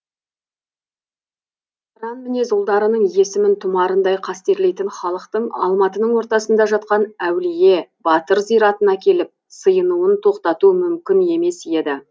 алайда қыран мінез ұлдарының есімін тұмарындай қастерлейтін халықтың алматының ортасында жатқан әулие батыр зиратына келіп сыйынуын тоқтату мүмкін емес еді